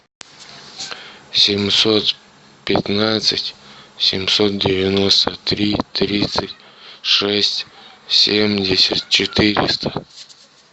семьсот пятнадцать семьсот девяносто три тридцать шесть семьдесят четыреста